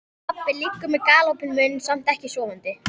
Pabbi liggur með galopinn munn, samt ekki sofandi.